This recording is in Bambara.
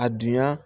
A dunya